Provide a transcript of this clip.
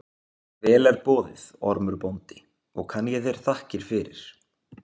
Vel er boðið, Ormur bóndi, og kann ég þér þakkir fyrir.